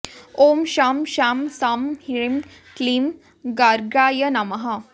ॐ शं शां षं ह्रीं क्लीं गर्गाय नमः